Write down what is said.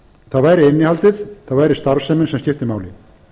það væri innihaldið það væri starfsemin sem skipti máli